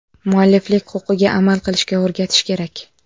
Mualliflik huquqiga amal qilishga o‘rgatish kerak.